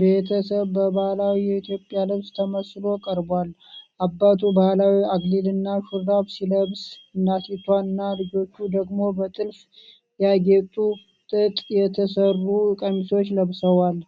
ቤተሰብ በባህላዊ የኢትዮጵያ ልብስ ተመስሎ ቀርቧል። አባቱ ባህላዊ አክሊልና ሹራብ ሲለብስ፣ እናቲቱና ልጆቹ ደግሞ በጥልፍ ያጌጡ ጥጥ የተሠሩ ቀሚሶችን ለብሰዋል።